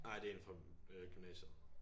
Nej det er en fra øh gymnasiet